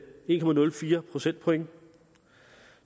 en procentpoint